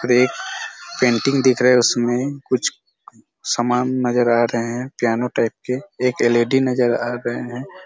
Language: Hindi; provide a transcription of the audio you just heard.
और एक पेंटिंग दिख रहा है उसमे कुछ समान नज़र आ रहे है प्यानो टाइप के एक एल_ई_डी नज़र आ रहे है।